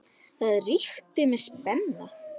Það ríkti mikil spenna.